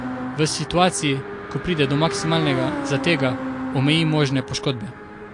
V situaciji, ko pride do maksimalnega zatega, omeji možne poškodbe.